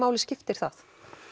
skiptir það